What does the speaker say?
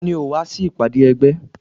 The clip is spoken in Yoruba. Tani ò wá sí ìpàdé ẹgbẹ́?